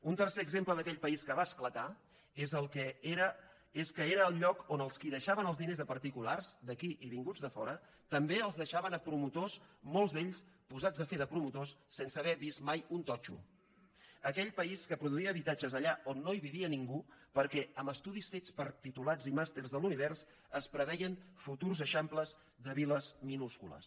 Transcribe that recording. un tercer exemple d’aquell país que va esclatar és que era el lloc on els qui deixaven els diners a particulars d’aquí i vinguts de fora també els deixaven a promotors molts d’ells posats a fer de promotors sense haver vist mai un totxo d’aquell país que produïa habitatges allà on no vivia ningú perquè amb estudis fets per titulats i màsters de l’univers es preveien futurs eixamples de viles minúscules